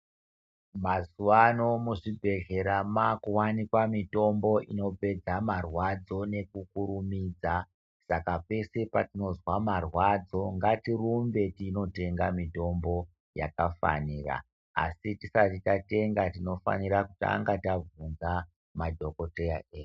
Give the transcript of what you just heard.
Mazuwano muzvibhehlera makuwanikwa mutombo inopedza marwadzo nekukurumidza saka peshe patinozwa marwadzo ngatirumbe tinotenga mutombo yakafanira asi tisati tatenga tinofanira kutanga tavhunza madhokodheya edu.